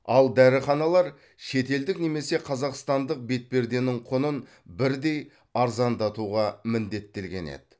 ал дәріханалар шетелдік немесе қазақстандық бетперденің құнын бірдей арзандатуға міндеттелген еді